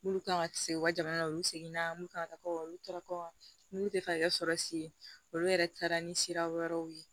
Mun kan ka kisi u ka jamana u seginna minnu kan ka kɔkɔ olu taara kɔlu tɛ fɛ ka kɛ sɔrɔsi ye olu yɛrɛ taara ni sira wɛrɛw ye